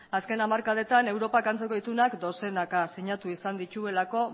zzken hamarkadetan europak antzeko itunak dozenaka sinatu izan dituelako